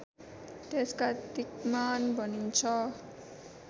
त्यसका दिक्मान भनिन्छ